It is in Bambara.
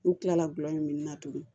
N'u kilala gulɔmin na tugunni